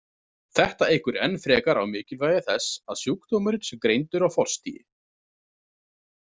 Þetta eykur enn frekar á mikilvægi þess að sjúkdómurinn sé greindur á forstigi.